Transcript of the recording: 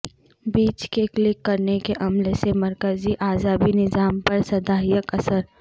بیج کے کلک کرنے کے عمل سے مرکزی اعصابی نظام پر سھدایک اثر